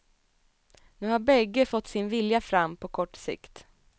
Nu har bägge fått sin vilja fram på kort sikt.